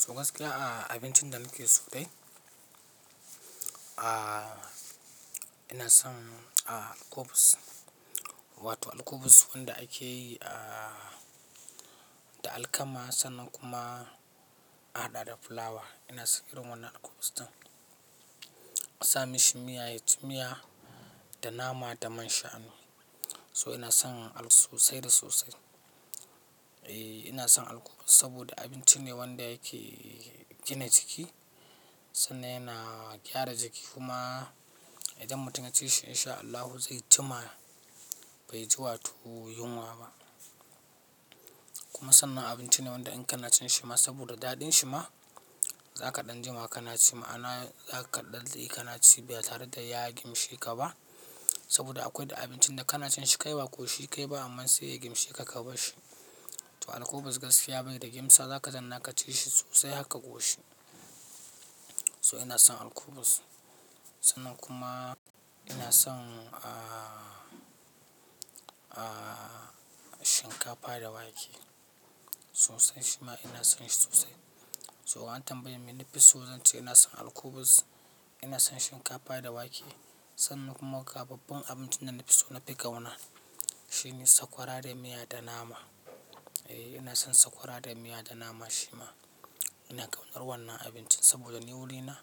So gaskiya a abincin da nake so dai, a ina son a alkubus, wato alkubus wanda ake yi a da alkama sannan kuma a haɗa da fulawa. Ina son irin wannan alkubus ɗin. Asa mishi miya, ya ci miya da nama da man shanu. So ina son alƙubus sosai da sosai. Eh, ina son alkubus saboda abinci ne wanda yake gina jiki sannan yana gyara jiki kuma idan mutum ya ci shi in sha Allahu zai ji ma bai ji wato yunwa ba. Kuma sannan abinci ne wanda in ƙana cin shi ma saboda daɗin shi ma za ka ɗan jima ƙana ci, ma'ana za ka daɗe ƙana ci ba tare da ya gimshe ka ba. Saboda akwai da abincin da ƙana cin shi kaiwa ko shi kai ba amma sai ya gimshe ka ka bar shi. To alkubus gaskiya bai da gimsa, za ka tana ka ci shi sosai har ka koshi. So ina son alkubus sannan kuma ina son a shinkafa da wake. Sosai shi ma ina son shi sosai. So an tambayeni mai nafi so, zan ce ina son alkubus, ina son shinkafa da wake sannan kuma ga babban abincin da na fi so nafi ƙauna. Shi ne sakwara da miya da nama. Eh, ina son sakwara da miya da nama shi ma. Ina ƙaunar wannan abincin saboda ni wurina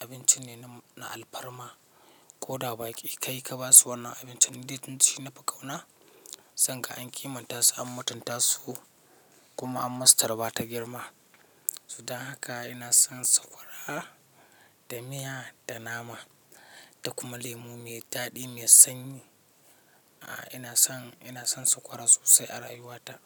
abinci ne na alfarma ko da ba ki ka yi ka ba su wannan abincin ni dai shi ne fi ƙauna. Zanga an kimanta su an mutunta su kuma an masu tarba ta girma. So da haka ina son sakwara da miya da nama da kuma lemu mai daɗi mai sanyi. A ina son, ina son sakwara sosai a rayuwata.